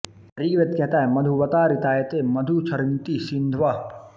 ऋग्वेद कहता है मधुवाता ऋतायते मधु क्षरन्ति सिन्धवः